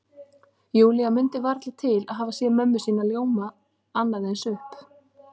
Júlía mundi varla til að hafa séð mömmu ljóma annað eins upp.